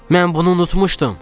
Mən bunu unutmuşdum.